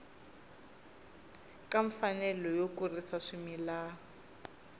ka mfanelo yo kurisa swimila